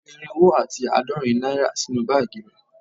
O fi irinwo ati aadorin naira sinu baagi re